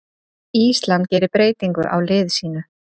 Ísland gerir breytingu á liði sínu